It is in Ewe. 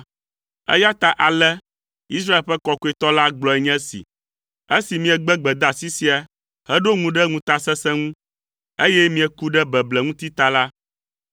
Eya ta ale, Israel ƒe Kɔkɔetɔ la gblɔe nye esi, “Esi miegbe gbedeasi sia heɖo ŋu ɖe ŋutasesẽ ŋu, eye mieku ɖe beble ŋuti ta la,